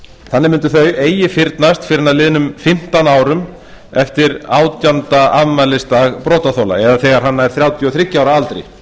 eru gegn börnum eigi fyrnast fyrr en að liðnum fimmtán árum eftir átjánda afmælisdag brotaþola eða þegar hann nær þrjátíu og þriggja ára aldri